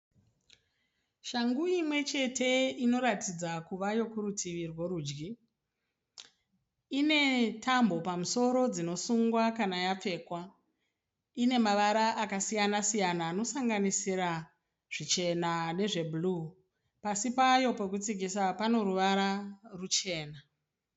Shangu imwechete inoratidza kuva yokuritivi rworudyi. Ine tambo pamusoro dzinosungwa kana yapfekwa. Ine mavara akasiyan -siyana anosanganisa zvichena nezve bhuruu. Pasi payo pokutsikisa pane ruvara ruchena.